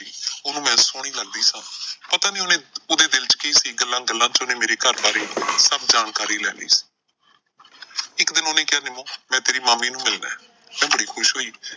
ਉਹਨੂੰ ਮੈਂ ਸੋਹਣੀ ਲੱਗਦੀ ਸਾਂ। ਪਤਾ ਨਈਂ ਉਹਨੇ ਉਹਦੇ ਦਿਲ ਚ ਕੀ ਸੀ ਗੱਲਾਂ ਗੱਲਾਂ ਚ ਉਹਨੇ ਮੇਰੇ ਘਰ ਬਾਰੇ ਸਭ ਜਾਣਕਾਰੀ ਲੈ ਲਈ ਸੀ ਇੱਕ ਦਿਨ ਉਹਨੇ ਕਿਹਾ ਨਿੰਮੋ ਮੈਂ ਤੇਰੀ ਮਾਮੀ ਨੂੰ ਮਿਲਣਾ, ਮੈਂ ਬੜੀ ਖੁਸ਼ ਹੋਈ।